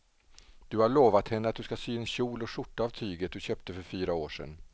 Du har lovat henne att du ska sy en kjol och skjorta av tyget du köpte för fyra år sedan.